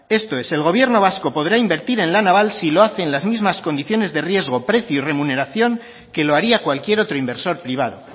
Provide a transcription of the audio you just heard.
esto es el gobierno vasco podrá invertir en la naval si lo hace en las mismas condiciones de riesgo precio y remuneración que lo haría cualquier otro inversor privado